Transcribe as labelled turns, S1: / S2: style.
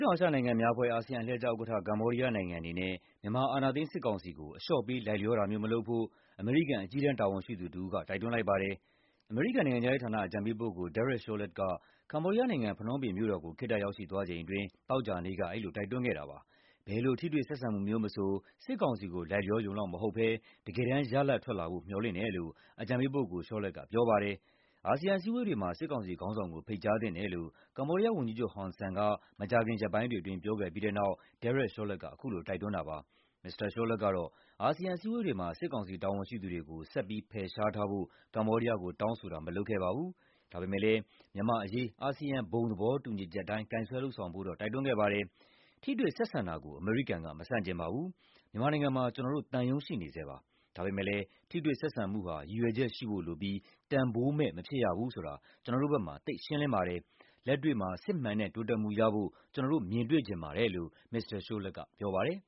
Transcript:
S1: တောင်အာရှနိုင်ငံများအဖွဲ့ (ASEAN) အလှည့်ကျဥက္ကဋ္ဌ ကမ္ဘောဒီးယားနိုင်ငံအနေနဲ့ မြန်မာ အာဏာသိမ်းစစ်ကောင်စီကို အလျှော့ပေး လိုက်လျောတာမျိုး မလုပ်ဖို့ အမေရိကန် အကြီးတန်း တာဝန်ရှိသူတဦးက တိုက်တွန်းလိုက်ပါတယ်။ အမေရိကန် နိုင်ငံခြားရေးဌာန အကြံပေးပုဂ္ဂိုလ် Derek Chollet က ကမ္ဘောဒီးယားနိုင်ငံ၊ ဖနွမ်းပင်မြို့တော်ကို ခေတ္တရောက်ရှိသွားချိန်အတွင်း သောကြာနေ့က အဲဒီလို တိုက်တွန်းခဲ့တာပါ။ ဘယ်လို ထိတွေ့ဆက်ဆံမှုမျိုးမဆို စစ်ကောင်စီကို လိုက်လျောရုံလောက်မဟုတ်ဘဲ တကယ်တမ်း ရလဒ်ထွက်လာဖို့ မျှော်လင့်တယ်လို့ အကြံပေးပုဂ္ဂိုလ် Chollet က ပြောပါတယ်။ အာဆီယံ အစည်းအဝေးတွေမှာ စစ်ကောင်စီခေါင်းဆောင်ကို ဖိတ်ကြားသင့်တယ်လို့ ကမ္ဘောဒီးယားဝန်ကြီးချုပ် ဟွန်ဆန်က မကြာခင် ရက်ပိုင်းတွေအတွင်း ပြောခဲ့ပြီးတဲ့နောက် Derek Chollet က အခုလို တိုက်တွန်းတာ ဖြစ်ပါတယ်။ မစ္စတာ Chollet ကတော့ အာဆီယံ အစည်းအဝေးတွေမှာ စစ်ကောင်စီ တာဝန်ရှိသူတွေကို ဆက်ပြီး ဖယ်ရှားထားဖို့ ကမ္ဘောဒီးယားကို တောင်းဆိုတာ မလုပ်ခဲ့ပါဘူး။ ဒါပေမယ့်လည်း မြန်မာ့အရေး အာဆီယံ ဘုံသဘောတူညီချက်အတိုင်း ကိုင်စွဲလုပ်ဆောင်ဖို့တော့ တိုက်တွန်းခဲ့ပါတယ်။ "ထိတွေ့ဆက်ဆံတာကို အမေရိကန်က မဆန့်ကျင်ပါဘူး။ မြန်မာနိုင်ငံမှာ ကျနော်တို့သံရုံး ရှိနေဆဲပါ။ ဒါပေမယ့်လည်း ထိတွေ့ဆက်ဆံမှုဟာ ရည်ရွယ်ချက်ရှိဖို့လိုပြီး တန်ဖိုးမဲ့ မဖြစ်ရဘူးဆိုတာ ကျနော်တို့ဘက်မှာ သိပ်ရှင်းလင်းပါတယ်။ လက်တွေ့မှာ စစ်မှန်တဲ့ တိုးတက်မှုရဖို့ ကျနော်တို့ မြင်တွေ့ချင်ပါတယ်" လို့ မစ္စတာ Chollet က ပြောပါတယ်